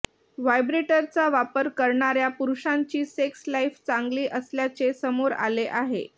व्हायब्रेटरचा वापर करणाऱ्या पुरुषांची सेक्स लाइफ चांगली असल्याचे समोर आले आहे